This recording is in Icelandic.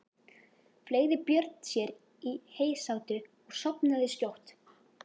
Fleygði Björn sér í heysátu og sofnaði skjótt.